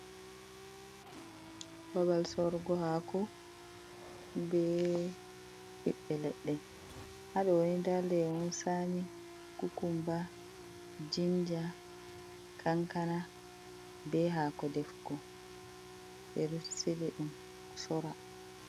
Babal sorugo haako be ɓiɓɓe leɗɗe, ha ɗo ni nda lemon tsami, kukumba, jinja, kankana be haako defugo ɓe ɗo sili ɗum sora.